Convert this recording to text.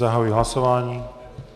Zahajuji hlasování.